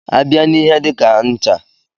A bịa n'ihe dika ncha.